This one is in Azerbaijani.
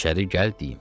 İçəri gəl deyim.